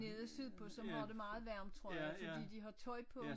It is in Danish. Nede sydpå som har det meget varmt tror jeg fordi de har tøj på